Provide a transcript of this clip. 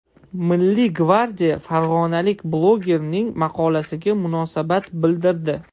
Milliy gvardiya farg‘onalik blogerning maqolasiga munosabat bildirdi.